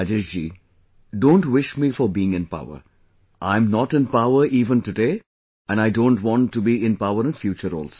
Rajesh ji, don't wish me for being in power, I am not in power even today and I don't want to be in power in future also